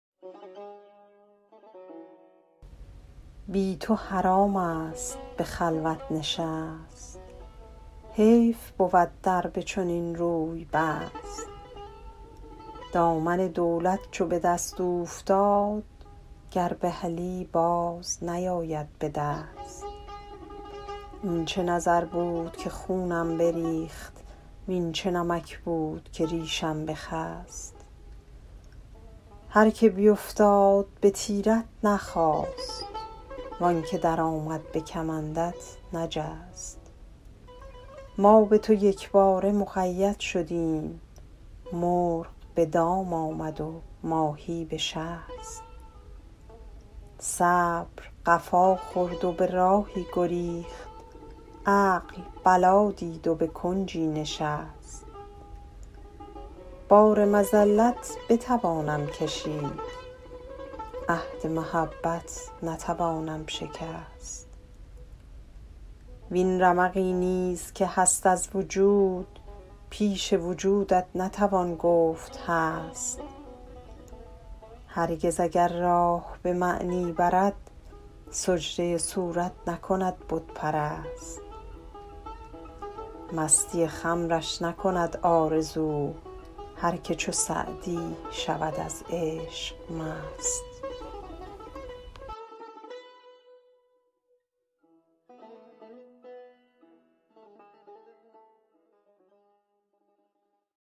بی تو حرام است به خلوت نشست حیف بود در به چنین روی بست دامن دولت چو به دست اوفتاد گر بهلی باز نیاید به دست این چه نظر بود که خونم بریخت وین چه نمک بود که ریشم بخست هر که بیفتاد به تیرت نخاست وان که درآمد به کمندت نجست ما به تو یکباره مقید شدیم مرغ به دام آمد و ماهی به شست صبر قفا خورد و به راهی گریخت عقل بلا دید و به کنجی نشست بار مذلت بتوانم کشید عهد محبت نتوانم شکست وین رمقی نیز که هست از وجود پیش وجودت نتوان گفت هست هرگز اگر راه به معنی برد سجده صورت نکند بت پرست مستی خمرش نکند آرزو هر که چو سعدی شود از عشق مست